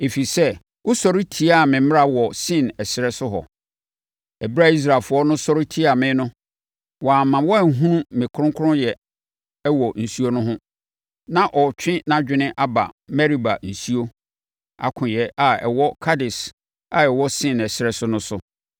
ɛfiri sɛ, wosɔre tiaa me mmara wɔ Sin ɛserɛ so hɔ. Ɛberɛ a Israelfoɔ no sɔre tiaa me no, woamma wɔanhunu me kronkronyɛ wɔ nsuo no ho.” Na ɔretwe nʼadwene aba Meriba nsuo “Akoeɛ” a ɛwɔ Kades a ɛwɔ Sin ɛserɛ so no so.